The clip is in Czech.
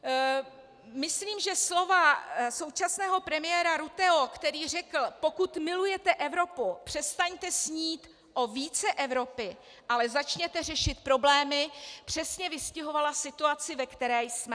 Myslím, že slova současného premiéra Rutteho, který řekl "pokud milujete Evropu, přestaňte snít o více Evropy, ale začněte řešit problémy", přesně vystihovala situaci, ve které jsme.